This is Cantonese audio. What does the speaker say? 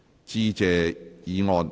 致謝議案。